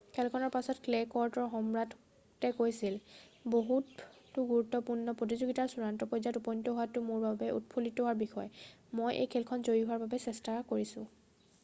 "খেলখনৰ পাছত ক্লে ক'ৰ্টৰ সম্ৰাটে কৈছিল "বহুতো গুৰুত্বপূৰ্ণ প্ৰতিযোগিতাৰ চূড়ান্ত পৰ্যায়ত উপনীত হোৱাটোতেই মোৰ বাবে উৎফুল্লিত হোৱাৰ বিষয়। মই এই খেলখনত জয়ী হোৱাৰ বাবে চেষ্টা কৰিছোঁ।""